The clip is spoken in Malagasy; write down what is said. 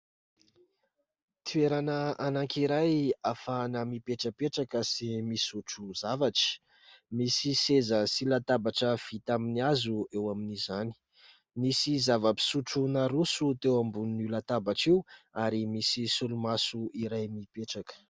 Toerana anankiray ahafahana mipetrapetraka sy misotro zavatra. Misy seza sy latabatra vita amin'ny hazo eo amin'izany. Misy zava-pisotro naroso teo ambonin'io latabatra io ary misy solomaso iray mipetraka.